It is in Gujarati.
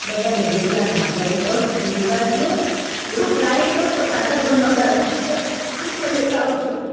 બધાને જેટલા ખાજા લેવા હોય લેવા દયો જો flight હોત તો ખાજા પણ નો લાવી શકેત ઈ પણ લેતા આવશું